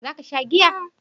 Za ka sha giya?